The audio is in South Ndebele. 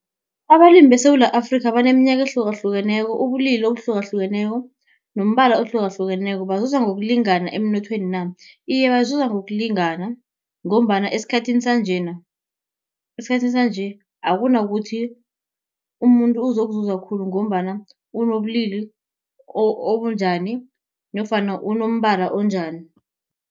Abalimi beSewula Afrika, abaneminyaka ehlukahlukeneko, ubulili obuhlukahlukeneko nombala ohlukahlukeneko bazuza ngokulingana emnothweni na. Iye bazuza ngokulingana, ngombana esikhathini sanjena, esikhathini sanje akunakuthi umuntu uzokuzuza khulu ngombana unobulili obunjani nofana unombala onjani.